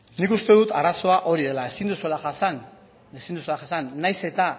nik uste dut arazoa hori dela ezin duzuela jasan nahiz eta